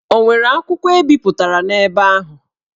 Ọ nwere akwụkwọ e bipụtara n'ebe ahụ?